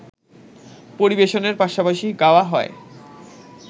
পরিবেশনের পাশাপাশি গাওয়া হয়